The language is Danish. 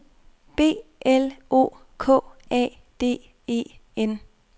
B L O K A D E N